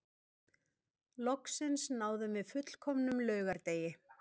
Loksins náðum við fullkomnum laugardegi